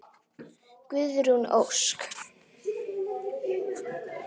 Guðrún Ósk.